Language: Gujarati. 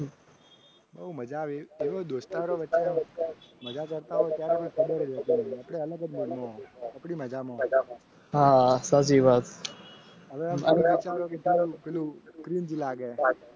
શું મજા આવીહા સાચી વાત